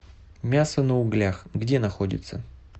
мясо на углях где находится